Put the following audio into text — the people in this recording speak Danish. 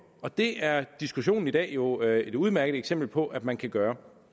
og det er diskussionen i dag jo et udmærket eksempel på at man kan gøre